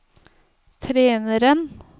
treneren